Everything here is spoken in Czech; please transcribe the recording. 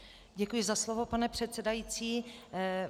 Děkuji za slovo, pane předsedající.